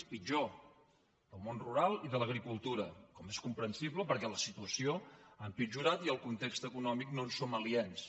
és pitjor del món rural i de l’agricultura com és comprensible perquè la situació ha empitjorat i del context econòmic no en som aliens